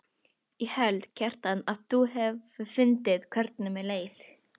Ég held, Kjartan, að hún hafi fundið hvernig mér leið.